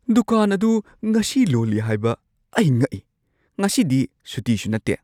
ꯗꯨꯀꯥꯟ ꯑꯗꯨ ꯉꯁꯤ ꯂꯣꯜꯂꯤ ꯍꯥꯏꯕ ꯑꯩ ꯉꯛꯏ! ꯉꯁꯤꯗꯤ ꯁꯨꯇꯤꯁꯨ ꯅꯠꯇꯦ꯫